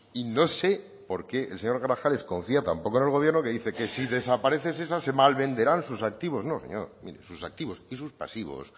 y no sé por qué el señor grajales confía tan poco en el gobierno que dice que si desaparece shesa se malvenderán sus activos no señor sus activos y sus pasivos